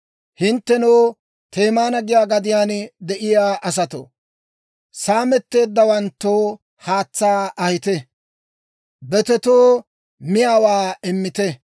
Hinttenoo, Teema giyaa gadiyaan de'iyaa asatoo, saametteeddawanttoo haatsaa ahite; betetoo miyaawaa immite.